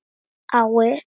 Ég stjórna engu.